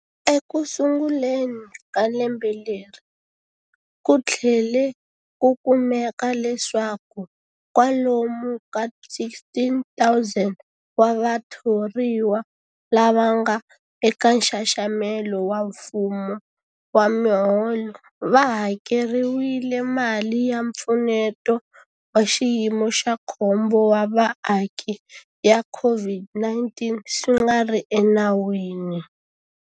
Ekusunguleni ka lembe leri, ku tlhele ku kumeka leswaku kwalomu ka 16,000 wa vathoriwa lava nga eka nxaxamelo wa mfumo wa miholo va hakeriwile mali ya Mpfuneto wa Xiyimo xa Khombo wa Vaaki ya COVID-19 swi nga ri enawini.